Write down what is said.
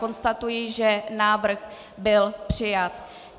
Konstatuji, že návrh byl přijat.